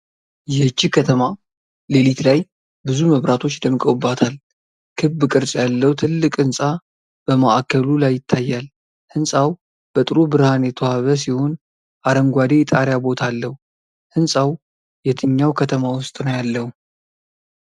ይህች ከተማ ሌሊት ላይ ብዙ መብራቶች ደምቀውባታል። ክብ ቅርጽ ያለው ትልቅ ህንጻ በማዕከሉ ላይ ይታያል። ሕንፃው በጥሩ ብርሃን የተዋበ ሲሆን አረንጓዴ የጣሪያ ቦታ አለው። ህንፃው የትኛው ከተማ ውስጥ ነው ያለው?